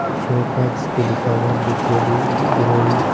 विशे उपाज भी लिखा हुआ है बीके डी वी ग्रोनिंग --